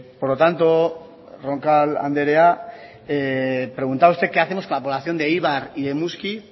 por lo tanto roncal anderea preguntaba usted qué hacemos con la población de eibar y de muskiz